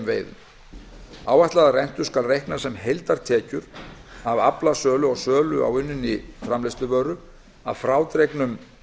veiðum áætlaða rentu skal reikna sem heildartekjur af aflasölu og sölu á unninni framleiðsluvöru að frádregnum